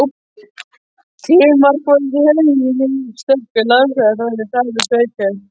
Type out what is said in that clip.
Klögumál voru því engin nema stöku landamerkjaþrætur frammi í sveitum.